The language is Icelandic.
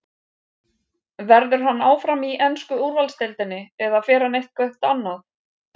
Verður hann áfram í ensku úrvalsdeildinni eða fer hann eitthvert annað?